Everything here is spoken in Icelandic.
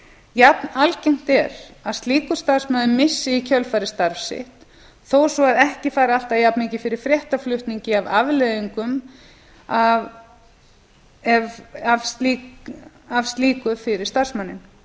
jafn algengt er að slíkur starfsmaður missi í kjölfarið starf sitt þó svo að ekki fari alltaf jafnmikið fyrir fréttaflutningi af afleiðingum af slíku fyrir starfsmanninn